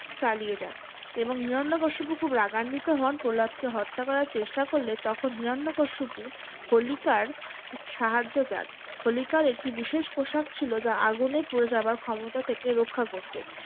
চালিয়ে যান এবং হিরণ্যকশিপ খুব রাগান্বিত হন প্রহ্লাদকে হত্যা করার চেষ্টা করলে তখন হিরণ্যকশিপু হোলিকার সাহায্য চান। হোলিকার একটি বিশেষ প্রসাদ ছিল যা আগুনে পুড়ে যাবার ক্ষমতা থেকে রক্ষা করত।